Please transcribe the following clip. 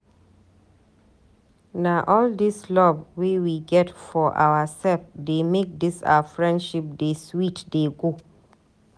Na all dis love wey we get for oursef dey make dis our friendship dey sweet dey go.